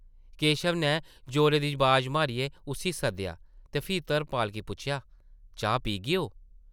केशव नै जोरे दी बाज मारियै उस्सी सद्देआ ते फ्ही धर्मपाल गी पुच्छेआ, ‘‘चाह् पीगेओ ?’’